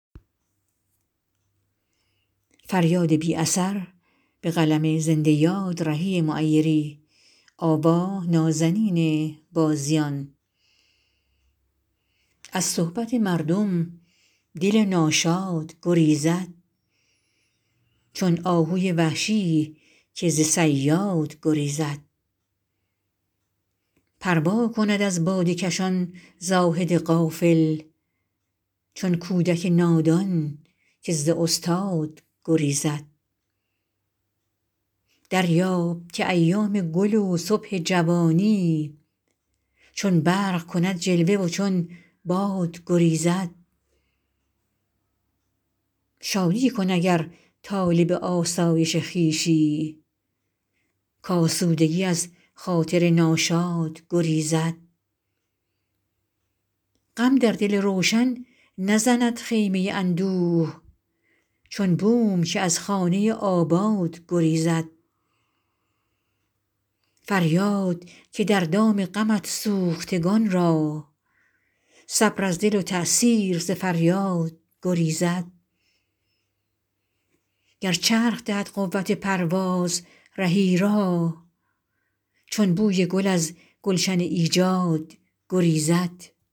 از صحبت مردم دل ناشاد گریزد چون آهوی وحشی که ز صیاد گریزد پروا کند از باده کشان زاهد غافل چون کودک نادان که از استاد گریزد دریاب که ایام گل و صبح جوانی چون برق کند جلوه و چون باد گریزد شادی کن اگر طالب آسایش خویشی کآسودگی از خاطر ناشاد گریزد غم در دل روشن نزند خیمه اندوه چون بوم که از خانه آباد گریزد فریاد که در دام غمت سوختگان را صبر از دل و تاثیر ز فریاد گریزد گر چرخ دهد قوت پرواز رهی را چون بوی گل از گلشن ایجاد گریزد